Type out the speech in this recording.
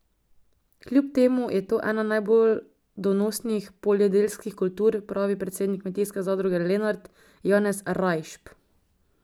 Kljub temu je to ena najbolj donosnih poljedeljskih kultur, pravi predsednik Kmetijske zadruge Lenart Janez Rajšp.